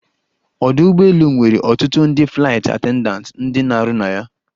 Ọdụ ụgbọelu nwere ọtụtụ ndị flaịt attendatị ndị na-arụ na ya.